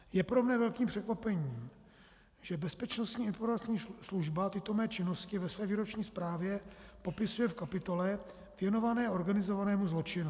Je pro mne velkým překvapením, že Bezpečnostní informační služba tyto mé činnosti ve své výroční zprávě popisuje v kapitole věnované organizovanému zločinu.